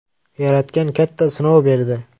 Yaratgan katta sinov berdi.